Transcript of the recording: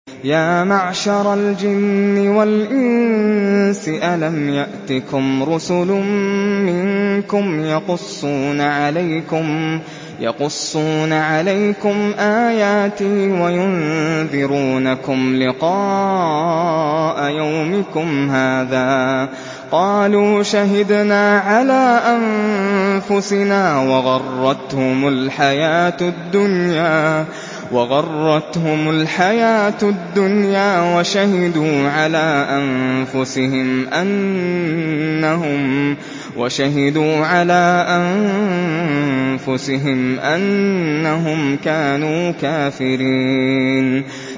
يَا مَعْشَرَ الْجِنِّ وَالْإِنسِ أَلَمْ يَأْتِكُمْ رُسُلٌ مِّنكُمْ يَقُصُّونَ عَلَيْكُمْ آيَاتِي وَيُنذِرُونَكُمْ لِقَاءَ يَوْمِكُمْ هَٰذَا ۚ قَالُوا شَهِدْنَا عَلَىٰ أَنفُسِنَا ۖ وَغَرَّتْهُمُ الْحَيَاةُ الدُّنْيَا وَشَهِدُوا عَلَىٰ أَنفُسِهِمْ أَنَّهُمْ كَانُوا كَافِرِينَ